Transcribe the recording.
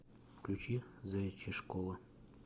включи заячья школа